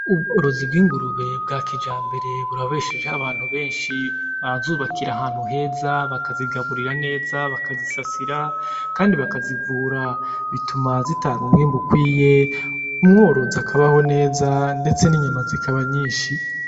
Ubworozi bw'ingurube bwa kijambere burabeshejeho abantu benshi. Barazubakira ahantu heza, bakazigaburira neza, bakazisasira, kandi bakazivura. Bituma zitanga umwimbu ukwiye, umworozi akabaho neza ndetse n'inyama zikaba nyinshi.